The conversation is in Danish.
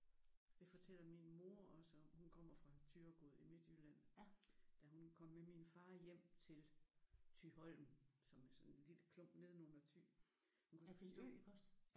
Det fortæller min mor også om. Hun kommer fra Thyregod i Midtjylland. Da hun kom med min far hjem til Thyholm som er sådan en lille klump nedenunder Thy. Hun kunne ikke forstå